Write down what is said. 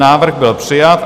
Návrh byl přijat.